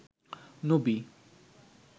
নবী